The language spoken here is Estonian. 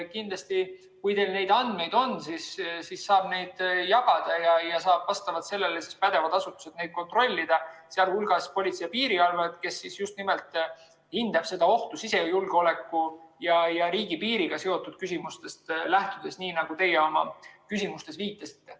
Kindlasti, kui teil neid andmeid on, saab neid jagada ja vastavalt sellele saavad pädevad asutused neid kontrollida, sh Politsei‑ ja Piirivalveamet, kes just nimelt hindab ohtu sisejulgeoleku ja riigipiiriga seotud küsimustest lähtudes, nii nagu teie oma küsimuses viitasite.